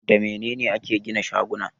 Da mene ne ake gina shaguna?